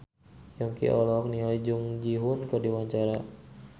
Yongki olohok ningali Jung Ji Hoon keur diwawancara